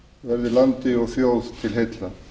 verði landi og þjóð til heilla